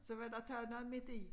Så var der taget noget midt i